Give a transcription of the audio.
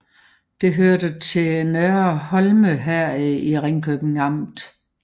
Det hørte til Nørre Horne Herred i Ringkøbing Amt